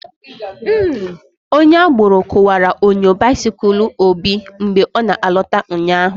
Onye agboro kuwara onyo bisikul Obi mgbe ọ na alota ụnyaahụ